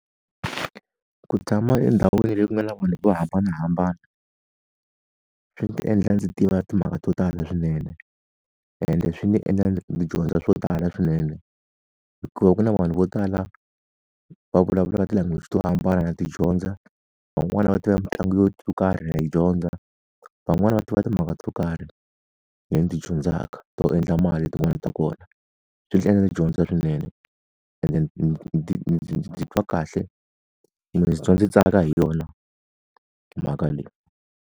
Ku tshama endhawini leyi ku nga na vanhu vo hambanahambana, swi endla ndzi tiva timhaka to tala swinene. Ende swi ndzi endla ndzi dyondza swo tala swinene. Hikuva ku na vanhu vo tala va vulavulaka ti-language to hambana na ti dyondza, van'wani va tiva mitlangu yo karhi na yi dyondza, van'wani va tiva timhaka to karhi ni ti dyondzaka to endla mali hi tin'wani ta kona. Swi ndzi endla ndzi dyondza swinene ende ndzi titwa kahle, ndzi tsaka hi yona mhaka leyi.